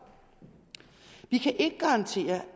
vi kan ikke garantere